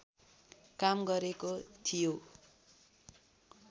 काम गरेको थियो